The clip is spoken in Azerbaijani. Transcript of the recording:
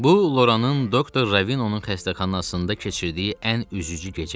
Bu Loranın doktor Ravino-nun xəstəxanasında keçirdiyi ən üzücü gecə idi.